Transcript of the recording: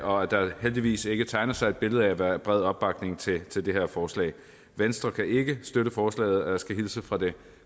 og at der heldigvis ikke tegner sig et billede af at der er bred opbakning til til det her forslag venstre kan ikke støtte forslaget og jeg skal hilse fra det